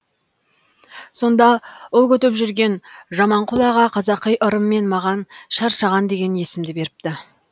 сонда ұл күтіп жүрген жаманқұл аға қазақи ырыммен маған шаршаған деген есімді беріпті